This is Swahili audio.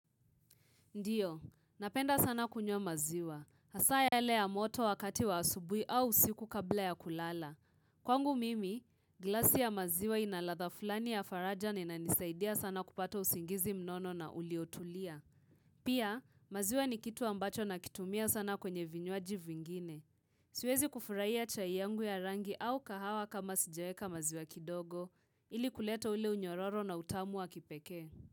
Ndiyo, napenda sana kunywa maziwa. Hasaa yale ya moto wakati wa asubui au siku kabla ya kulala. Kwangu mimi, glasi ya maziwa inaladha fulani ya farajani na inisaidia sana kupata usingizi mnono na uliotulia. Pia, maziwa ni kitu ambacho na kitumia sana kwenye vinywaji vingine. Siwezi kufurahiya chai yangu ya rangi au kahawa kama sijaeka maziwa kidogo ili kuleta ule unyororo na utamu wa kipekee.